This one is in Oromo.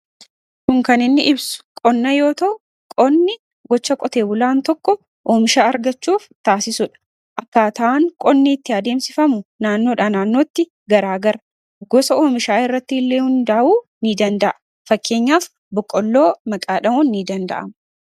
kun kaninni ibsu qonna yoota'u qonni gocha qotee bulaan tokko oomisha argachuuf taasisudha akkaata'an qonniitti adeemsifamu naannoodha naannootti garaa gara gosa oomishaa irratti illee hundaa'uu ni danda'a fakkeenyaaf boqolloo maqaadha'uun ni danda'a